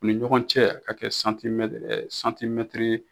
U ni ɲɔgɔn cɛ a ka kɛ santimɛtiri